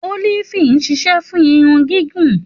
Òlífì ṣisẹ fùn irun gìgún